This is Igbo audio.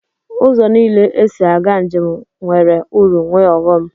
Ụzọ niile esi aga njem nwere uru nwee ọghọm.